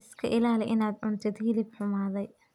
Iska ilaali inaad cuntid hilib xumaaday.